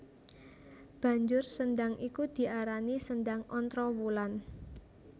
Banjur sendhang iku diarani Sendhang Ontrowulan